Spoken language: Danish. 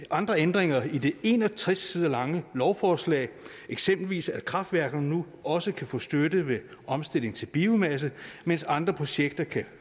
andre ændringer i det en og tres sider lange lovforslag eksempelvis at kraftværkerne nu også kan få støtte ved omstilling til biomasse mens andre projekter kan